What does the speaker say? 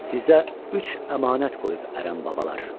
Sizə üç əmanət qoyub ərəb babalar.